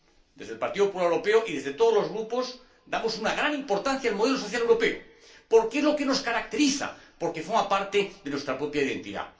Desde el Partido Popular Europeo y desde todos los grupos damos una gran importancia al modelo social europeo, porque es lo que nos caracteriza, porque forma parte de nuestra propia identidad.